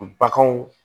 Baganw